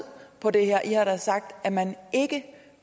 på det her i har sagt at man ikke